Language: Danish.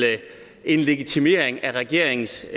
en legitimering af regeringens